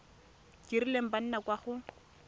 kileng ba nna kwa go